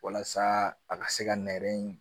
Walasa a ka se ka nɛrɛ in